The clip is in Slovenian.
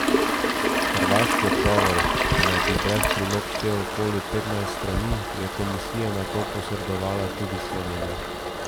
Hrvaški odgovor, ki naj bi brez prilog štel okoli petnajst strani, je komisija nato posredovala tudi Sloveniji.